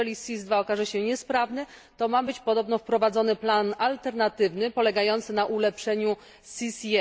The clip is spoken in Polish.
Jeżeli SIS II okaże się niesprawny to ma być podobno wprowadzony plan alternatywny polegający na ulepszeniu SIS I.